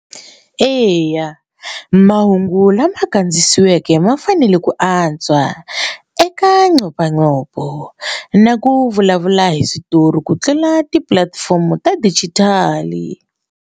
Eya mahungu lama kandziyisiweke ma fanele ku antswa eka nxopaxopo na ku vulavula hi switori ku tlula tipulatifomo ta digital.